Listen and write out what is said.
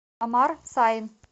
амар сайн